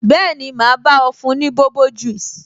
Bẹẹni, ma bá ọ fún ní bobo juice